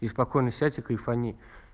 и спокойно сядь и кайфани